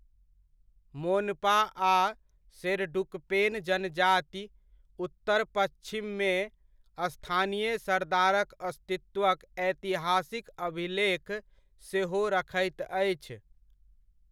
मोनपा आ शेरडुकपेन जनजाति, उत्तर पच्छिममे स्थानीय सरदारक अस्तित्वक ऐतिहासिक अभिलेख सेहो रखैत अछि।